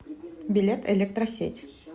билет электросеть